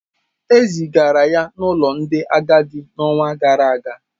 E zigara ya n’ụlọ ndị agadi n’ọnwa gara aga.